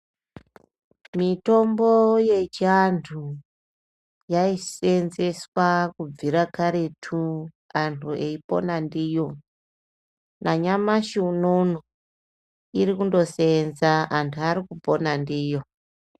Mitombo yechiantu yaiseenzeswa kubvira karetu antu aipona ndiyo, nanyamashi unono irikundoseenza antu arikundopona ndiyo.